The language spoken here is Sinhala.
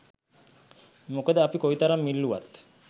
මොකද අපි කොයි තරම් ඉල්ලුවත්